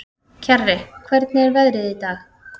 Kjarri, hvernig er veðrið í dag?